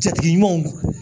Jatigi ɲumanw